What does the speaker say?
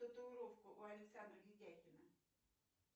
татуировку у александра видякина